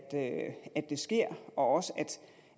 at det sker og også